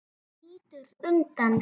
Þú lítur undan.